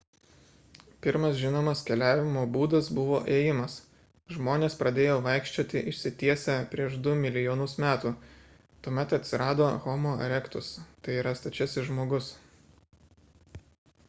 pirmas žinomas keliavimo būdas buvo ėjimas. žmonės pradėjo vaikščioti išsitiesę prieš du milijonus metų – tuomet atsirado homo erectus tai yra stačiasis žmogus